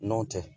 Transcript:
Nɔn tɛ